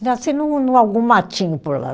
Nasci num num algum matinho por lá.